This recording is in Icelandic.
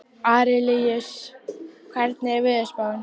Arilíus, hvernig er veðurspáin?